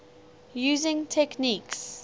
using techniques